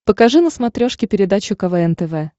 покажи на смотрешке передачу квн тв